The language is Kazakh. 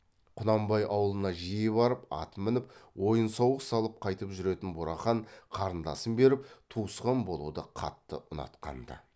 құнанбай аулына жиі барып ат мініп ойын сауық салып қайтып жүретін бурахан қарындасын беріп туысқан болуды қатты ұнатқанды